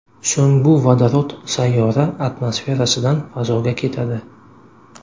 So‘ng bu vodorod sayyora atmosferasidan fazoga ketadi.